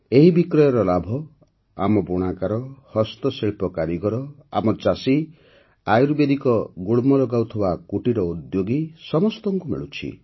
ଏହି ବିକ୍ରୟର ଲାଭ ଆମ ବୁଣାକାର ହସ୍ତଶିଳ୍ପ କାରିଗର ଆମ ଚାଷୀ ଆୟୁର୍ବେଦିକ ଗୁଳ୍ମ ଲଗାଉଥିବା କୁଟୀର ଉଦ୍ୟୋଗୀ ସମସ୍ତଙ୍କୁ ମିଳୁଛି